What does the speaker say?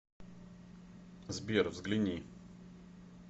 сбер взгляни